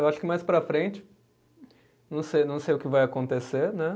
Eu acho que mais para frente. Não sei, não sei o que vai acontecer, né?